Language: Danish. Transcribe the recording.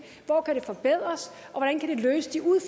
hvor kan det forbedres